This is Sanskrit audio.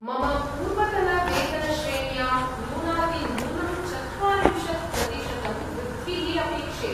मम पूर्वतनवेतनश्रेण्यां न्यूनातिन्यूनं चत्वारिंशत् प्रतिशतं वृद्धिः अपेक्षे।